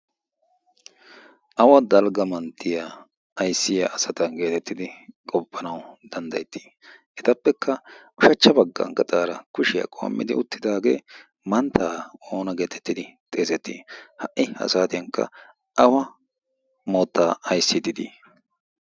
Awa dalgga manttiya ayssiya asata getettidi qoppanawu danddayettii? Etappekka ushachcha bagga gaxaara kushiya qoommiddi uttidaagee mantta oona geetettidi xeesettii? Ha''i ha saatiyankka awa moottaa ayssiiddi dii?